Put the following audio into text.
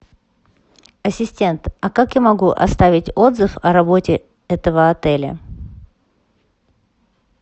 ассистент а как я могу оставить отзыв о работе этого отеля